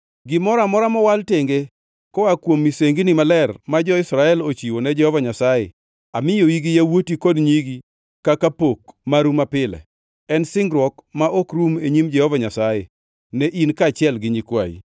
Gimoro amora mowal tenge koa kuom misengini maler ma jo-Israel ochiwo ne Jehova Nyasaye, amiyoi gi yawuoti kod nyigi kaka pok maru mapile. En singruok ma ok rum e nyim Jehova Nyasaye ne in kaachiel gi nyikwayi.”